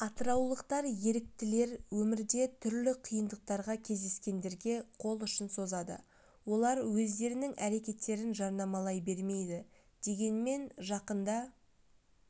атыраулық еріктілер өмірде түрлі қиындықтарға кездескендерге қол ұшын созады олар өздерінің әрекеттерін жарнамалай бермейді дегенмен жақында